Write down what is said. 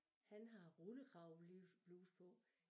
Han har rullekravebluse på